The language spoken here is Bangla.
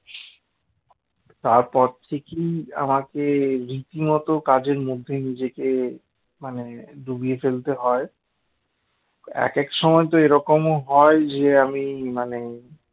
তারপর থেকেই আমাকে রীতিমত কাজের মধ্যে নিজেকে মানে ডুবিয়ে ফেলতে হয় একেক সময় তো এরকমও হয় যে আমি মানে